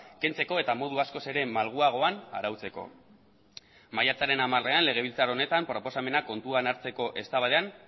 kentzeko eta modu askoz ere malguagoan arautzeko maiatzaren hamarean legebiltzar honetan proposamena kontuan hartzeko eztabaidan